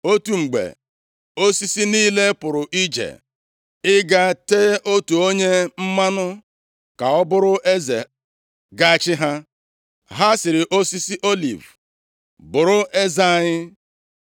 Otu mgbe, osisi niile pụrụ ije ịga tee otu onye mmanụ ka ọ bụrụ eze ga-achị ha. Ha sịrị osisi oliv, ‘Bụrụ eze anyị.’